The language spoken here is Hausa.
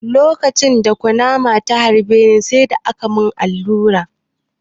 Lokacin da kunama ta harbe ni, sai da aka mun allura.